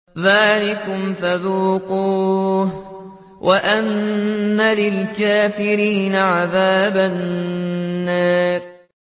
ذَٰلِكُمْ فَذُوقُوهُ وَأَنَّ لِلْكَافِرِينَ عَذَابَ النَّارِ